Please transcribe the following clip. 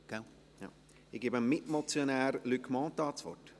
Ich gebe dem Mitmotionär Luc Mentha das Wort.